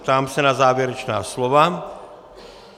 Ptám se na závěrečná slova.